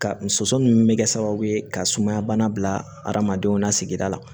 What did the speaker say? Ka n sonson bɛ kɛ sababu ye ka sumaya bana bila adamadenw na sigida la